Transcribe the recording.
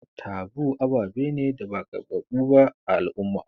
Taboo aɓaɓe ne da ba karbaɓu ɓa a al'umma.